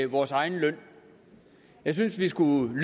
vores egen løn jeg synes vi skulle